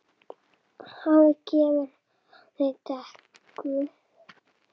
Hafið gefur, hafið tekur.